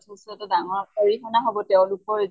ভৱিষ্য়্তে ডাঙৰ অৰিহনা হʼব তেওঁলোকৰ